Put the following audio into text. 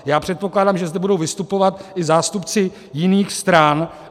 Já předpokládám, že zde budou vystupovat i zástupci jiných stran.